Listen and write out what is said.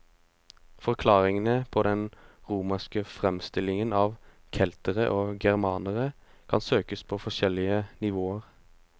Forklaringene på den romerske fremstillingen av keltere og germanere kan søkes på forskjellige nivåer.